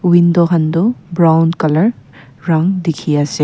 window kantoh brown colour round teki ase.